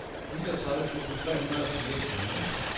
niogtredive tusind tre hundrede og fireogtyve